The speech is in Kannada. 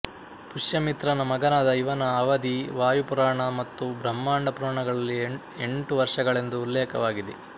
ಪುಷ್ಯಮಿತ್ರನ ಮಗನಾದ ಇವನ ಅವಧಿ ವಾಯು ಪುರಾಣ ಮತ್ತು ಬ್ರಹ್ಮಾಂಡ ಪುರಾಣಗಳಲ್ಲಿ ಎಂಟು ವರ್ಷಗಳೆಂದು ಉಲ್ಲೇಖವಾಗಿದೆ